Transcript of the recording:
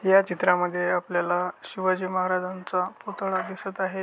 या चित्रामध्ये आपल्याला शिवाजी महाराजांचा पुतळा दिसत आहे.